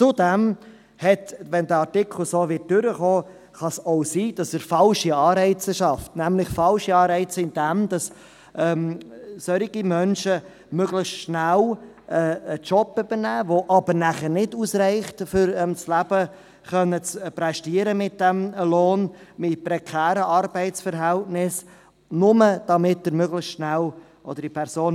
Zudem – wenn der Artikel so durchkommt – kann es auch sein, dass er falsche Anreize schafft, nämlich dadurch, dass solche Menschen möglichst schnell einen Job übernehmen, wobei der Lohn aber wegen prekärer Arbeitsverhältnisse nicht ausreicht, um ihr Leben zu prästieren.